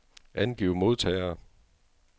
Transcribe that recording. Angiv modtagere.